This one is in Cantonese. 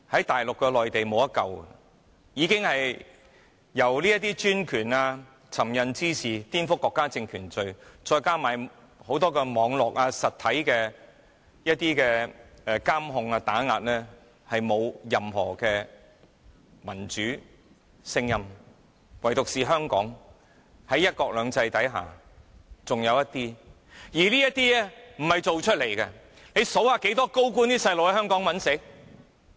大陸內地已經無法挽救，已經因為專權、這些尋釁滋事和顛覆國家政權罪，再加上很多網絡、實體監控和打壓，而沒有任何民主聲音，唯獨是香港，在"一國兩制"之下還剩餘一些民主聲音，而這些不是裝出來的。